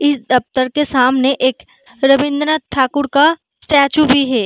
इस दफ्तर के सामने एक रविंद्र नाथ ठाकुर का स्टैच्यू भी है।